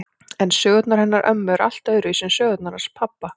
En sögurnar hennar ömmu eru allt öðruvísi en sögurnar hans pabba.